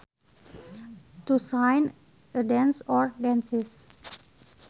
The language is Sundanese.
To design a dance or dances